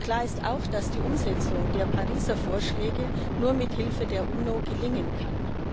Klar ist auch, dass die Umsetzung der Pariser Vorschläge nur mit Hilfe der UNO gelingen kann.